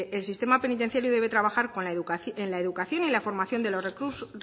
el sistema penitenciario debe trabajar en la educación y en la formación de